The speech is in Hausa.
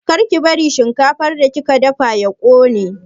Kar ki bari shinkafar da kika dafawa ya ƙone!